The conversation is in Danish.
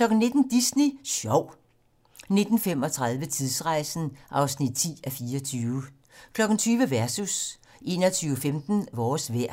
19:00: Disney Sjov 19:35: Tidsrejsen (10:24) 20:00: Versus 21:15: Vores vejr